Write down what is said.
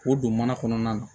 K'o don mana kɔnɔna na